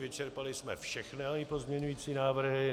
Vyčerpali jsme všechny pozměňující návrhy.